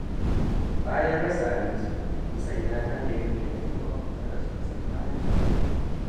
Bayan rasa abinci, Usaina ta nemi taimakon maƙwabtan da suka san halin da take ciki.